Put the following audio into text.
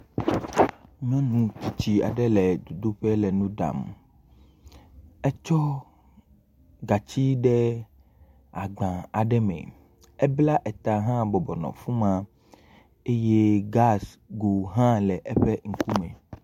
Nyɔnu tsitsi aɖe le dzodoƒe le nu ɖam. Etsɔ gatsi de agba aɖe me. Ebla eta hã bɔbɔ nɔ afi ma. Eye gasi go hã le eƒe ŋkume.